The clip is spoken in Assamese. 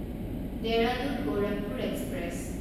দেহৰাদুন গোৰখপুৰ এক্সপ্ৰেছ